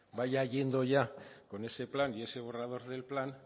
vaya yendo ya con ese plan y ese borrador del plan